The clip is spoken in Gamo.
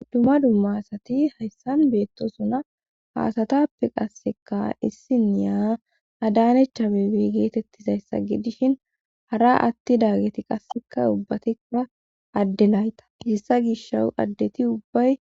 Dumma dumma asati hayssan beettosuna haasatappe qasseka issiniya adanecha bebi geetettizayssagi dishin hara atti dagageti qasseka ubbati ura addelayta hissa gisho addeti ubbay.